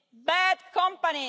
Bad company!